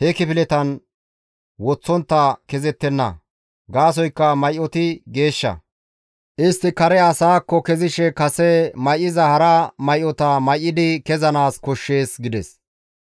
he kifiletan woththontta kezettenna. Gaasoykka may7oti geeshsha. Istti kare asaakko kezishe kase may7iza hara may7ota may7idi kessanaas koshshees» gides.